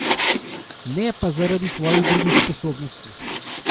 Ne pa zaradi svojih drugih sposobnosti.